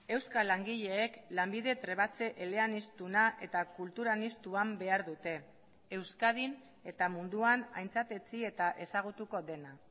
euskal langileek lanbide trebatze eleaniztuna eta kultur aniztuan behar dute euskadin eta munduan aintzatetsi eta ezagutuko dena